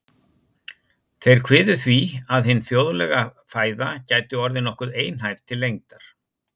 Þeir kviðu því, að hin þjóðlega fæða gæti orðið nokkuð einhæf til lengdar.